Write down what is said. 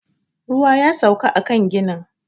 Ruwa ya sauka a kan ginin